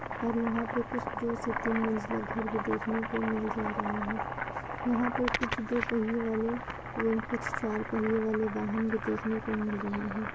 और यहाँ पे कुछ दो से तीन मंजिला घर भी देखने को मिल जा रहा है। यहाँ पर कुछ दो पहिये वाले एवं कुछ चार पहिये वाले वाहन भी देखने को मिल रहे हैं ।